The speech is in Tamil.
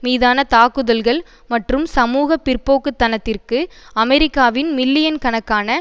மீதான தாக்குதல்கள் மற்றும் சமூக பிற்போக்குதனத்திற்கு அமெரிக்காவின் மில்லியன்கணக்கான